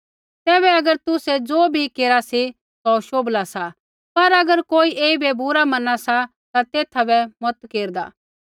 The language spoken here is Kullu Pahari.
तैबै अगर तुसै ज़ो बी केरा सी सौ शोभला सा पर अगर कोई ऐईबै बुरा मना सा ता एथा बै मता केरदै